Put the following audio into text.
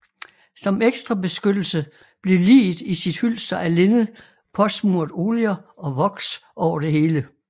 Som ekstra beskyttelse blev liget i sit hylster af linned påsmurt oljer og voks over det hele